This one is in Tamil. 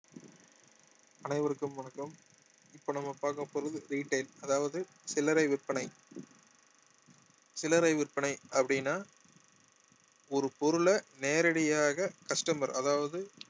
அனைவருக்கும் வணக்கம் இப்ப நம்ம பார்க்க போறது retail அதாவது சில்லறை விற்பனை சில்லறை விற்பனை அப்படின்னா ஒரு பொருளை நேரடியாக customer அதாவது